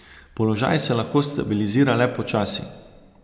Položaj se lahko stabilizira le počasi.